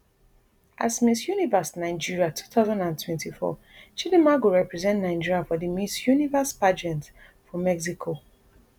as miss universe nigeria two thousand and twenty-four chidimma go represent nigeria for di miss universe pageant for mexico